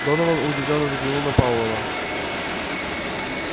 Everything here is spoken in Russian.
донован удивлённо взглянул на пауэлла